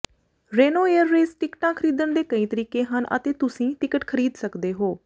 Reno air race ਟਿਕਟਾਂ ਖਰੀਦਣ ਦੇ ਕਈ ਤਰੀਕੇ ਹਨ ਅਤੇ ਤੁਸੀਂ ਟਿਕਟ ਖਰੀਦ ਸਕਦੇ ਹੋ